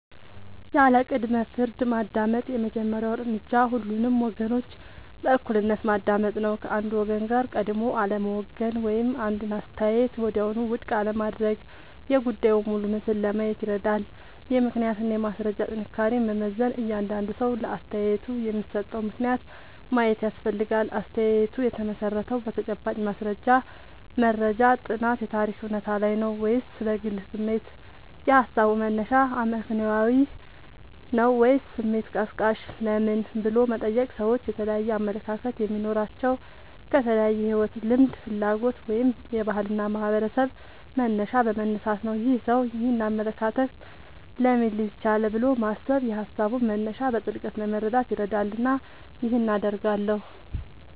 ያለ ቅድመ-ፍርድ ማዳመጥ የመጀመሪያው እርምጃ ሁሉንም ወገኖች በእኩልነት ማዳመጥ ነው። ከአንዱ ወገን ጋር ቀድሞ አለመወገን ወይም አንዱን አስተያየት ወዲያውኑ ውድቅ አለማድረግ የጉዳዩን ሙሉ ምስል ለማየት ይረዳል። የምክንያትና የማስረጃ ጥንካሬን መመዘን እያንዳንዱ ሰው ለአስተያየቱ የሚሰጠውን ምክንያት ማየት ያስፈልጋል። አስተያየቱ የተመሠረተው በተጨባጭ ማስረጃ (መረጃ፣ ጥናት፣ የታሪክ እውነታ) ላይ ነው ወይስ በግል ስሜት? የሃሳቡ መነሻ አመክንዮአዊ ነው ወይስ ስሜት ቀስቃሽ? ለምን" ብሎ መጠየቅ ሰዎች የተለያየ አመለካከት የሚኖራቸው ከተለያየ የሕይወት ልምድ፣ ፍላጎት ወይም የባህልና የማኅበረሰብ መነሻ በመነሳት ነው። "ይህ ሰው ይህንን አመለካከት ለምን ሊይዝ ቻለ?" ብሎ ማሰብ የሃሳቡን መነሻ በጥልቀት ለመረዳት ይረዳልና ይህን አደርጋለሁ